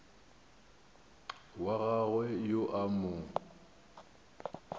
wa gagwe yo a mo